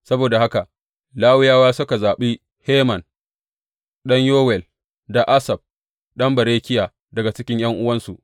Saboda haka Lawiyawa suka zaɓi Heman ɗan Yowel, da Asaf ɗan Berekiya daga cikin ’yan’uwansu.